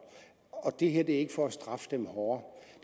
og det her er ikke for at straffe dem hårdere